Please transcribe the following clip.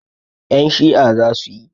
Ƴan Shi'a zasu yi